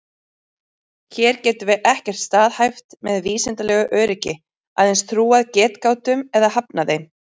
Hér getum við ekkert staðhæft með vísindalegu öryggi, aðeins trúað getgátum eða hafnað þeim.